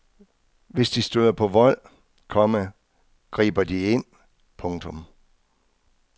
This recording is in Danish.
Hvis de støder på vold, komma griber de ind. punktum